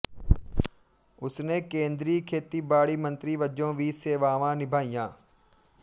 ਉਸਨੇ ਕੇਂਦਰੀ ਖੇਤੀਬਾੜੀ ਮੰਤਰੀ ਵਜੋਂ ਵੀ ਸੇਵਾਵਾਂ ਨਿਭਾਈਆਂ